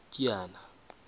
kiana